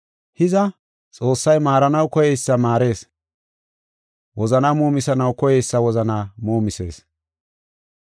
Hiza, Xoossay maaranaw koyeysa maarees; wozanaa muumisanaw koyeysa wozanaa muumisees.